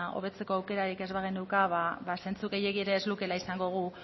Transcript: hobetzeko aukerarik ez bageneuka zentzu gehiegirik ere ez lukeela izango gu